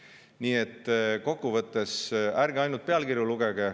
Nii et kokkuvõttes ärge lugege ainult pealkirju.